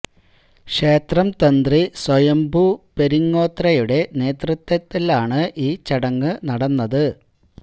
ക്ഷേത്രം തന്ത്രി സ്വയംഭൂ പെരിങ്ങോത്രയുടെ നേതൃത്വത്തിൽ ആണ് ഈ ചടങ്ങ് നടന്നത്